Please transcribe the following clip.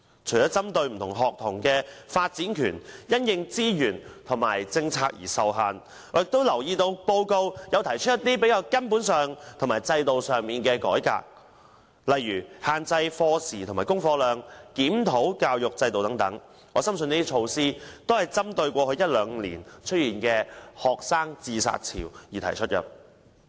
除了針對不同學童的發展權因資源和政策而受限制外，我亦留意到報告提出了一些較根本和制度上的改革，例如限制課時和功課量及檢討教育制度等，我深信這些措施是針對過去一兩年出現的學生自殺潮而提出。